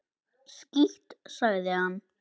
Skítt, sagði hann.